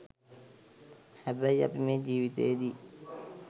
හැබැයි අපි මේ ජීවිතයේදී